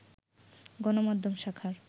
গণমাধ্যম শাখার